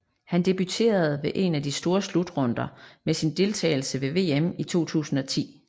Han debuterede ved en af de store slutrunder med sin deltageles ved VM 2010